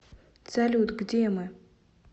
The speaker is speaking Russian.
салют где мы